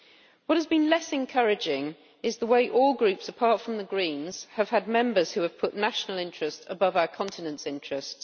What has been less encouraging is the way all groups, apart from the Greens, have had Members who have put national interest above our continent's interest.